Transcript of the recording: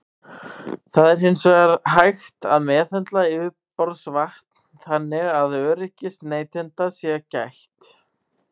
Það er hins vegar hægt að meðhöndla yfirborðsvatn þannig að öryggis neytenda sé gætt.